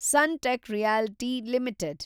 Sunteck Realty limited